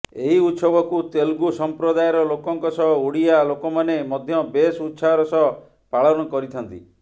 ଏହି ଉତ୍ସବକୁ ତେଲୁଗୁ ସଂପ୍ରଦାୟର ଲୋକଙ୍କ ସହ ଓଡ଼ିଆ ଲୋକମାନେ ମଧ୍ୟ ବେଶ୍ ଉତ୍ସାହର ସହ ପାଳନ କରିଥାନ୍ତି